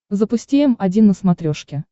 запусти м один на смотрешке